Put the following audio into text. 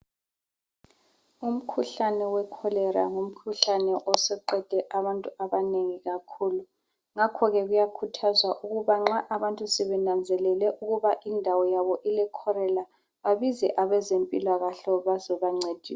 Umkhuhlane we-Cholera ngumkhuhlane osuqede abantu abanengi kakhulu, ngakho ke kuyakhuthazwa ukuba nxa abantu sebenanzelele ukuba indawo yabo ileCholera babize abezempilakahle bazobancedisa.